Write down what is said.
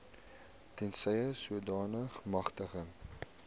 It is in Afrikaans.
tensy sodanige magtiging